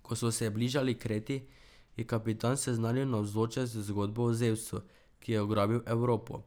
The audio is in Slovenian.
Ko so se bližali Kreti, je kapitan seznanil navzoče z zgodbo o Zevsu, ki je ugrabil Evropo.